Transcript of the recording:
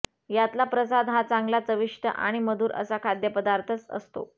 यातला प्रसाद हा चांगला चविष्ट आणि मधुर असा खाद्यपदार्थच असतो